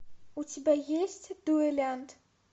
у тебя есть дуэлянт